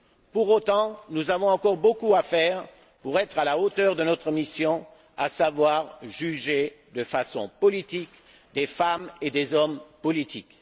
Pour autant, nous avons encore beaucoup à faire pour être à la hauteur de notre mission, à savoir juger de façon politique des femmes et des hommes politiques.